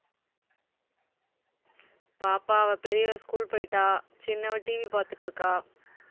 பாப்பா அவ பெரியவ school போயிட்டா. சின்னவ TV பாத்துட்டிருக்கா